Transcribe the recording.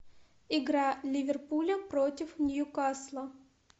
игра ливерпуля против ньюкасла